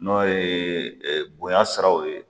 N'o ye bonya siraw ye